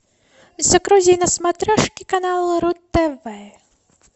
загрузи на смотрешке канал ру тв